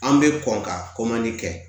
An bɛ kɔn ka kɛ